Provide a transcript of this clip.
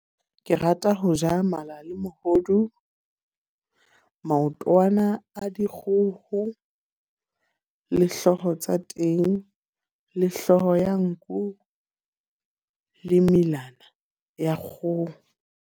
Ke rata ho ja mala le mohodu, maotwana a dikgoho le hloho tsa teng. Le hlooho ya nku, le melana ya kgoho.